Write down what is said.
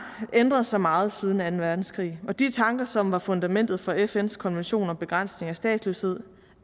ændret sig meget siden anden verdenskrig og de tanker som var fundamentet for fns konvention om begrænsning af statsløshed